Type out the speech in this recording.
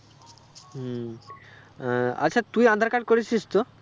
হম আহ আচ্ছা তুই আঁধার card করেছিস তো?